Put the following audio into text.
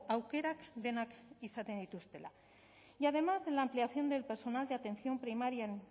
aukerak denak izaten dituztela y además en la ampliación del personal de atención primaria en